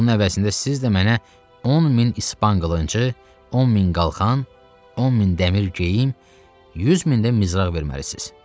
Bunun əvəzində siz də mənə 10 min İspan qılıncı, 10 min qalxan, 10 min dəmir geyim, 100 min də nizraq verməlisiz.